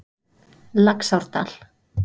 Laxárdal